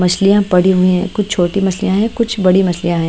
मछलियाँ पड़ी हुई हैं कुछ छोटी मछलियाँ हैं कुछ बड़ी मछलियाँ हैं।